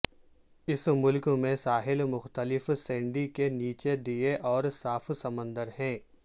اس ملک میں ساحل مختلف سینڈی کے نیچے دیے اور صاف سمندر ہیں